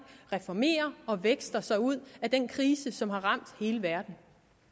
reformerer og vækster sig ud af den krise som har ramt hele verden